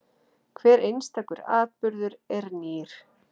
Hver einstakur atburður er nýr.